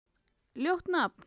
Ljótt nafn.